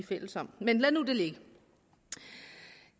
fælles om men lad nu det ligge